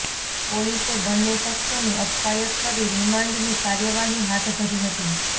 પોલીસે બંને શખ્સોની અટકાયત કરી રિમાન્ડની કાર્યવાહી હાથ ધરી હતી